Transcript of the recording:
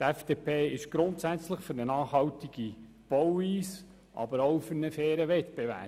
Die FDP ist grundsätzlich für eine nachhaltige Bauweise, aber auch für einen fairen Wettbewerb.